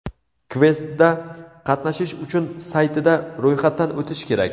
Kvestda qatnashish uchun saytida ro‘yxatdan o‘tish kerak.